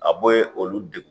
A bo ye olu de